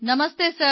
Namaste sir